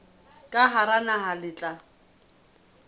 ka hara naha le tla